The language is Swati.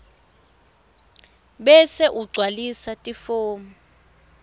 bese ugcwalisa lifomu